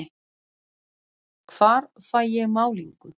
Hvar fæ ég málningu?